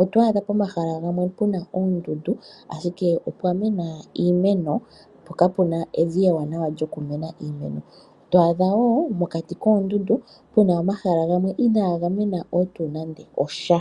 oto adha pomahala gamwe puna oondundu ashike opwa mena iimeno po kapuna evi ewanawa nokumena iimeno ,to adha wo mokati koondundu muna omahala gamwe ina ga mena wo tu nande osha.